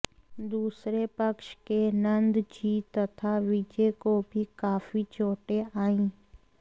दूसरे पक्ष के नंदजी तथा विजय को भी काफी चोटें आईं